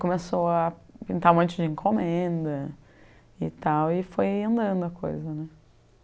Começou a pintar um monte de encomenda e tal e foi andando a coisa né.